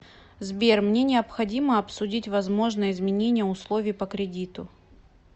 сбер мне необходимо обсудить возможно изменения условий по кредиту